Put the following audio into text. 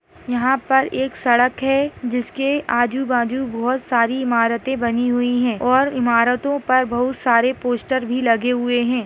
यहाँ पर एक सड़क हैं जिसके आजू - बाजू बहुत सारी इमारते बनी हुई हैं और इमारतों पर बहुत सारे पोस्टर भी लगे हुए हैं।